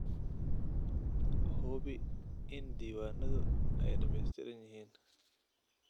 Hubi in diiwaanadu ay dhammaystiran yihiin.